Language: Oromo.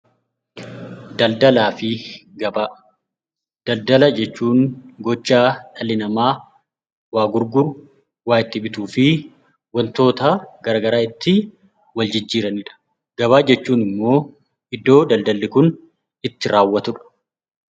Daldala jechuun gochaa dhalli namaa waa itti gurguru , waa itti bituu fi wantoota garaagaraa itti wal jijjiiranidha. Gabaa jechuun immoo iddoo daldalli kun itti raawwatudha.